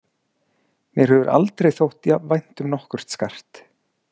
Mér hefur aldrei þótt jafn vænt um nokkurt skart.